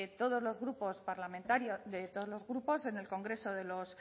todos los grupos parlamentarios de todos los grupos en el congreso de los